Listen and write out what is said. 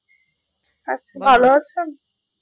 আচ্ছা ভালো আছেন?